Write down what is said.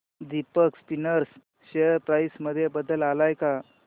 Deepak Spinners share price मध्ये बदल आलाय का